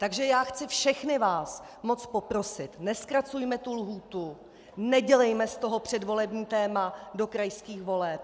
Takže já chci všechny vás moc poprosit - nezkracujme tu lhůtu, nedělejme z toho předvolební téma do krajských voleb.